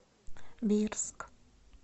бирск